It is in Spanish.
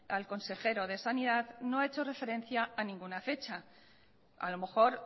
al consejero de sanidad no ha hecho referencia a ninguna fecha a lo mejor